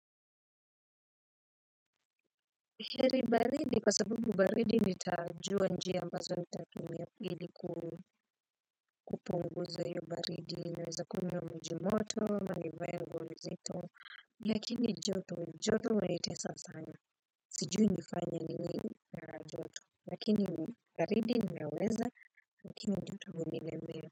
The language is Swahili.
Heri baridi kwa sababu baridi nitajua njia ambazo nitatumia ili kupunguza hiyo baridi naweza kunywa maji moto na nivaea nguo nzito lakini joto joto wanitesa sana siju nifanya nini na joto. Lakini baridi naweza. Lakini joto hunilemea.